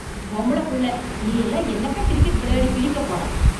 பொம்பளப் புள்ள நீயெல்லாம் என்னத்த கிரிக்கெட் விளையாடி கிழிக்கப் போற?